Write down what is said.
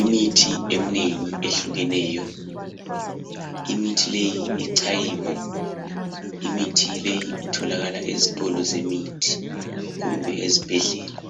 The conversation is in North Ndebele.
Imithi eminengi ehlukeneyo imithi leyi ichayiwe imithi leyi itholakala ezitolo zemithi kumbe ezibhedlela